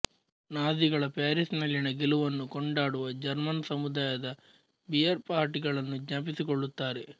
ನಾಝೀಗಳ ಪ್ಯಾರಿಸ್ನಲ್ಲಿನ ಗೆಲುವನ್ನು ಕೊಂಡಾಡುವ ಜರ್ಮನ್ ಸಮುದಾಯದ ಬಿಯರ್ಪಾರ್ಟಿಗಳನ್ನು ಜ್ಞಾಪಿಸಿಕೊಳ್ಳುತ್ತಾರೆ